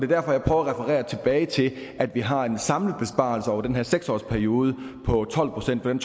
derfor jeg prøver at referere tilbage til at vi har en samlet besparelse over den her seks års periode på tolv procent det